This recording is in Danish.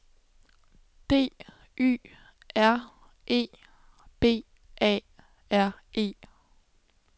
D Y R E B A R E